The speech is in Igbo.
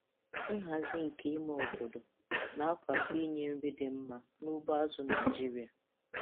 Nhazi nke ime obodo na-akwado inye nri dị mma n'ugbo azụ̀ Naịjiria.